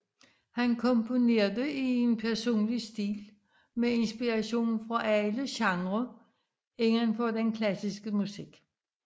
Han komponerede i en personlig stil med inspiration fra alle genre indenfor den klassiske musik